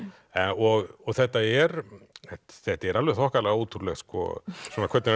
og þetta er þetta er alveg þokkalega ótrúlegt hvernig hann